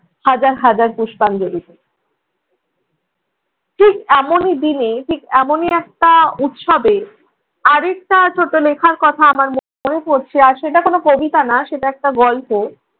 হাজার হাজার পুষ্পাঞ্জলি দেই। ঠিক এমনই দিনে ঠিক এমনই একটা উৎসবে আরেকটা ছোট লিখার কথা আমার মনে পড়ছে, আর সেটা কোন কবিতা না সেটা একটা গল্প।